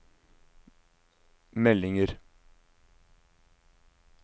meldinger